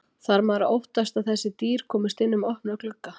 Þarf maður að óttast að þessi dýr komist inn um opna glugga?